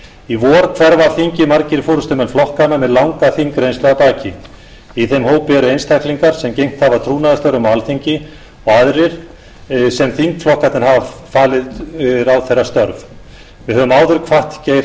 í vor hverfa af þingi margir forustumenn flokkanna með langa þingreynslu að baki í þeim hópi eru einstaklingar sem gegnt hafa trúnaðarstörfum á alþingi og aðrir sem þingflokkarnir hafa falið ráðherrastörf við höfum áður kvatt geir h